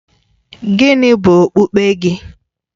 Gịnị bụ okpukpe gị?